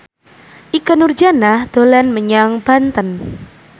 Ikke Nurjanah dolan menyang Banten